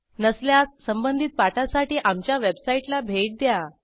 नसल्यास संबंधित पाठासाठी आमच्या वेबसाईटला भेट द्या